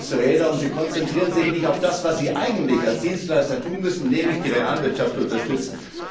Sie drehen große Räder und konzentrieren sich nicht auf das, was sie eigentlich als Dienstleister tun müssen, nämlich die Realwirtschaft unterstützen.